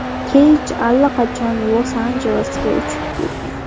Keyj allaqachon Los-Anjelesga uchib kelgan.